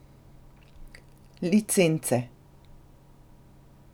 Licence.